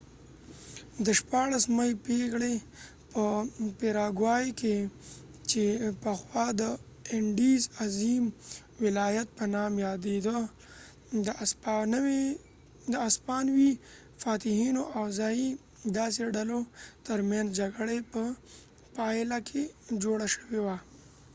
د 16مې پېړۍ په پېراګوای کې چې پخوا د اینډیز عظیم ولایت په نام یادېدله د اسپانوي فاتحینو او ځايي دیسي ډلو ترمنځ جګړې په پایله کې جوړه شوې وه